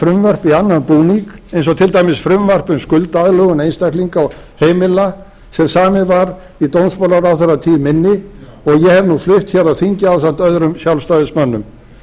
frumvörp í annan búning eins og til dæmis frumvarp um skuldaaðlögun einstaklinga og heimila sem samið var í dómsmálaráðherratíð minni og ég hef nú flutt hér á þingi ásamt öðrum sjálfstæðismönnum